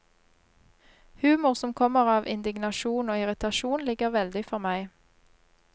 Humor som kommer av indignasjon og irritasjon ligger veldig for meg.